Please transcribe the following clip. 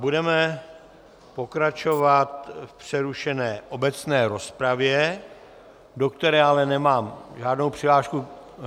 Budeme pokračovat v přerušené obecné rozpravě, do které ale nemám žádnou přihlášku.